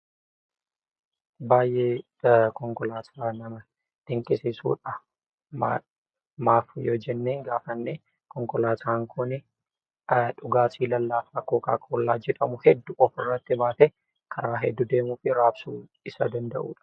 Baay'ee konkolaataa nama dinqisiisudha . Maaf yoo jennee gaafanne konkolaataan Kuni dhugaatii lallaafaa kookaa kollaa jedhamu hedduu ofirratti baatee karaa hedduu deemuu fi raabsuu isa dandahuudha.